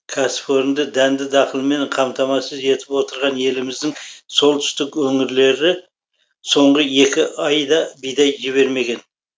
кәсіпорынды дәнді дақылмен қамтамасыз етіп отырған еліміздің солтүстік өңірлері соңғы екі айда бидай жібермеген